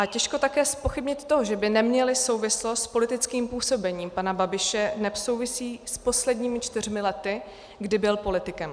A těžko také zpochybnit to, že by neměly souvislost s politickým působením pana Babiše, neb souvisí s posledními čtyřmi lety, kdy byl politikem.